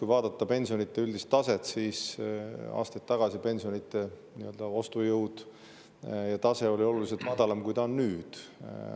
Kui vaadata pensionide üldist taset, siis aastaid tagasi oli pensionide ostujõud ja tase oluliselt madalam, kui see on nüüd.